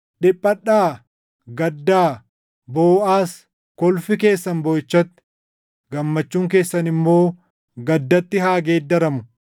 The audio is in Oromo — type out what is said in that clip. Dhiphadhaa; gaddaa; booʼaas. Kolfi keessan booʼichatti, gammachuun keessan immoo gaddatti haa geeddaramu.